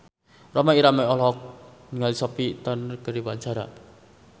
Rhoma Irama olohok ningali Sophie Turner keur diwawancara